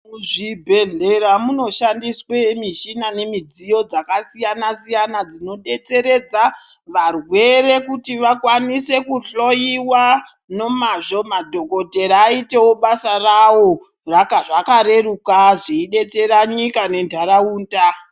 Zvibhehlera munoshandiswe mishina nemidziyo dzakasiyana-siyana dzinodetseredza varwere kuti vakwanise kuhloyiwa nomazvo. Madhokodhera aitewo basa rawo zvakareruka zveidetsera nyika nentaraunda.